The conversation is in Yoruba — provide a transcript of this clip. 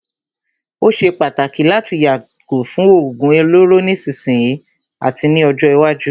Ó ṣé pàtàkì láti yàgò fún òógún olóró nísìsiyìí àti ní ọjọ́ iwájú.